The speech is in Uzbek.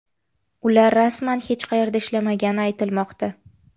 Ular rasman hech qayerda ishlamagani aytilmoqda.